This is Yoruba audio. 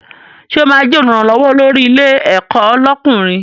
Sọ ma jẹ́ Olùrànlọ́wọ́ olórí ilé ẹ̀kọ́ lọ́kùnrin?